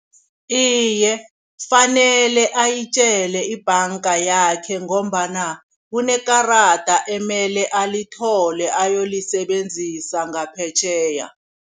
Iye, fanele ayitjele ibhanga yakhe ngombana kunekarada emele alithole ayolisebenzisa ngaphetjheya.